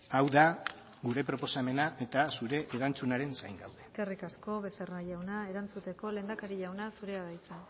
hau da gure proposamena eta zure erantzunaren zain gaude eskerrik asko becerra jauna erantzuteko lehendakari jauna zurea da hitza